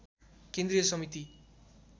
केन्द्रीय समिति